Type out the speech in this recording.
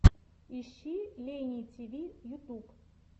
ищи лейни тиви ютуб